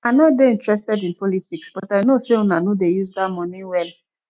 i no dey interested in politics but i no say una no dey use dat money well